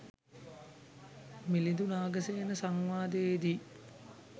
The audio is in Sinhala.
මිලිදු නාගසේන සංවාදයේදී